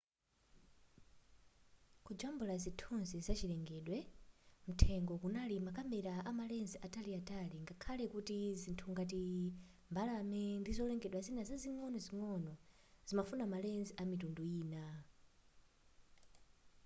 kujambula zithunzi za chilengedwe mthengo kunali makamera ama lens ataliatali ngakhale kuti zinthu ngati mbalame ndi zolengedwa zina zing'onozingono zimafuna ma lens amitundu ina